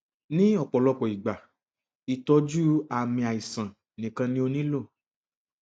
ni ọpọlọpọ igba itọju aami aisan nikan ni o nilo